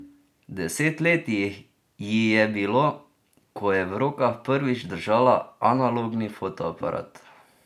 Deset let ji je bilo, ko je v rokah prvič držala analogni fotoaparat.